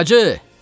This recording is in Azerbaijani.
Hacı!